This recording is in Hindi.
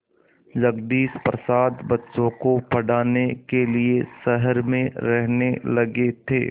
जगदीश प्रसाद बच्चों को पढ़ाने के लिए शहर में रहने लगे थे